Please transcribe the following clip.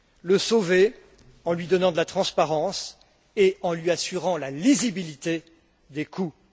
La sauver en lui donnant de la transparence et en lui assurant la lisibilité des coûts.